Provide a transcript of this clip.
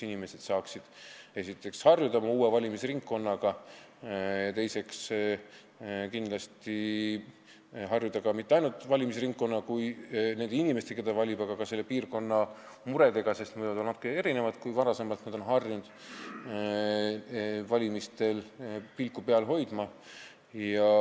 Inimesed saaksid siis harjuda uue valimisringkonnaga ning mitte ainult valimisringkonnaga ja nende inimestega, keda nad valivad, vaid ka piirkonna muredega, kui nad on varem harjunud sellistel asjadel pilku peal hoidma, sest need on nüüd natuke erinevad.